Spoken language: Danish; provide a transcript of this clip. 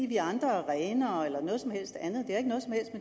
vi andre er renere eller noget som helst andet